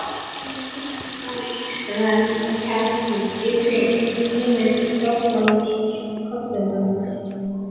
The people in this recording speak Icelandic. Fyrsti helgidómur Ísraels var tjaldbúð, ytri ímynd sáttmálans og köllunarinnar.